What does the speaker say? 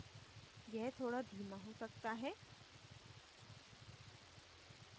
यह थोड़ा धीमा हो सकता है